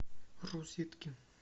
розетки